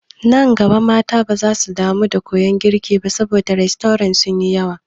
Nan gaba mata baza su damu da koyan girki ba saboda rastorant sun yi yawa.